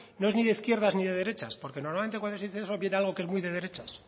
no es ni de izquierdas ni de derechas porque normalmente cuando se dice eso viene algo que es muy de derechas